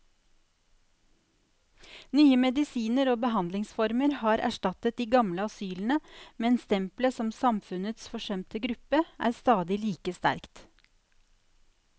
Nye medisiner og behandlingsformer har erstattet de gamle asylene, men stempelet som samfunnets forsømte gruppe er stadig like sterkt.